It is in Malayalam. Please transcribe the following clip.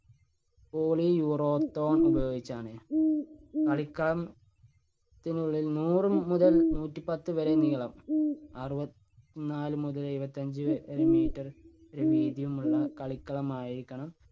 poly urethane ഉപയോഗിച്ചാണ്. കളിക്കളം~ത്തിനുള്ളിൽ നൂറു മുതൽ നൂറ്റി പത്തു വരെ നീളം, അറുപത് നാല് മുതൽ എഴുപത്തഞ്ച് വരെ meter വീതിയുമുള്ള കളിക്കളം ആയിരിക്കണം